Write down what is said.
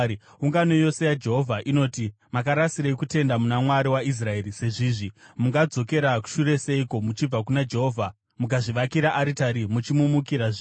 “Ungano yose yaJehovha inoti, ‘Makarasirei kutenda muna Mwari waIsraeri sezvizvi? Mungadzokera shure seiko muchibva kuna Jehovha mukazvivakira aritari muchimumukira zvino.